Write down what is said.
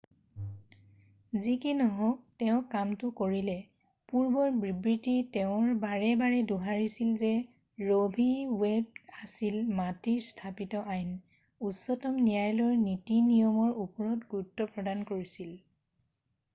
"যি কি নহওক তেওঁ কামটো কৰিলে পূৰ্বৰ বিবৃতি তেওঁ বাৰে বাৰে দোহাৰিছিল যে ৰ' ভি. ৱেড আছিল "মাটিৰ স্থাপিত আইন" উচ্চতম ন্যায়ালয়ৰ নীতি-নিয়মৰ ওপৰত গুৰুত্ব প্ৰদান কৰিছিল।""